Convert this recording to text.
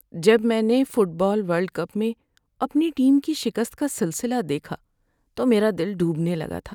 جب میں نے فٹ بال ورلڈ کپ میں اپنی ٹیم کی شکست کا سلسلہ دیکھا تو میرا دل ڈوبنے لگا تھا۔